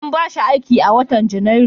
An ba shi aiki a watan Janairu.